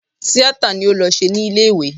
Tíátà ni ó lọ ṣe ní ilé ìwé